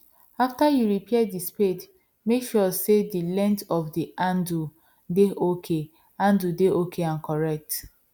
after you repair the spade make sure say the length of the handle dey ok handle dey ok and correct